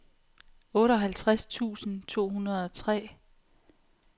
otteoghalvtreds tusind to hundrede og tre